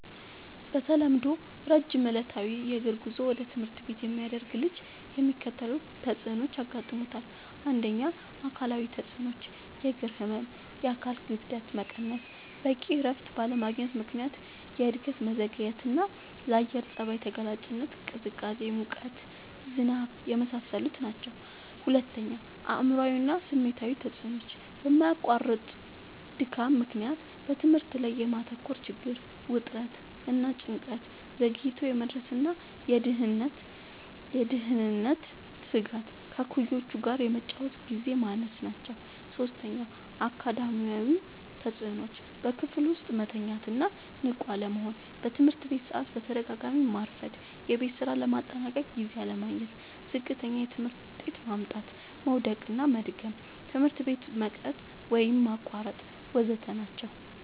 በተለምዶ ረጅም ዕለታዊ የእግር ጉዞ ወደ ትምህርት ቤት የሚያደርግ ልጅ የሚከተሉት ተጽዕኖዎች ያጋጥሙታል። ፩. አካላዊ ተጽዕኖዎች፦ · የእግር ህመም፣ የአካል ክብደት መቀነስ፣ በቂ እረፍት ባለማግኘት ምክንያት የእድገት መዘግየትና፣ ለአየር ጸባይ ተጋላጭነት (ቅዝቃዜ፣ ሙቀት፣ ዝናብ) የመሳሰሉት ናቸዉ። ፪. አእምሯዊ እና ስሜታዊ ተጽዕኖዎች፦ በማያቋርጥ ድካም ምክንያት በትምህርት ላይ የማተኮር ችግር፣ ውጥረት እና ጭንቀት፣ ዘግይቶ የመድረስ ወይም የደህንነት ስጋት፣ ከእኩዮች ጋር የመጫወቻ ግዜ ማነስ ናቸዉ። ፫. አካዳሚያዊ ተጽዕኖዎች፦ · በክፍል ውስጥ መተኛት ወይም ንቁ አለመሆን፣ በትምህርት ሰዓት በተደጋጋሚ ማርፈድ፣ የቤት ስራ ለማጠናቀቅ ጊዜ አለማግኘት፣ ዝቅተኛ የትምህርት ውጤት ማምጣት፣ መዉደቅና መድገም፣ ትምህርት ቤት መቅረት ወይም ማቋረጥ ወ.ዘ.ተ ናቸዉ።